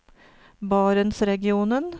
barentsregionen